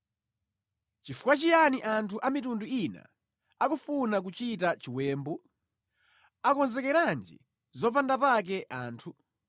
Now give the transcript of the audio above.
Nʼchifukwa chiyani anthu a mitundu ina akufuna kuchita chiwembu? Akonzekeranji zopanda pake anthu?